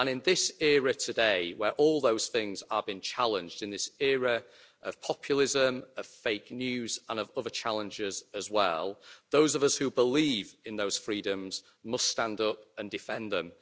In this era today, where all those things are being challenged, in this era of populism, of fake news and of other challenges as well, those of us who believe in those freedoms must stand up and defend them.